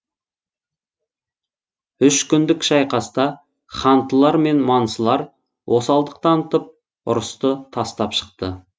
үш күндік шайқаста хантылар мен мансылар осалдық танытып ұрысты тастап шықты